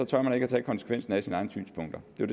tør man ikke tage konsekvensen af sine egne synspunkter det er